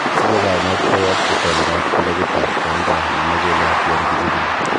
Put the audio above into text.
Siche kainet koyob itondab kilopitab konda nemachulat yon kichikili.